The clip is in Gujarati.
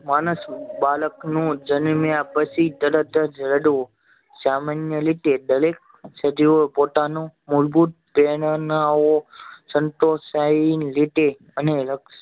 માણસ બાળક નું જન્મ્યા પછી તરત જ એનું સામાન્ય રીતે દરેક સજીવો પોતાનું મૂળભૂત સંતોષાઈ ના લીધે અને